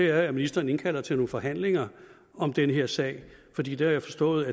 er at ministeren indkalder til nogle forhandlinger om den her sag fordi det har jeg forstået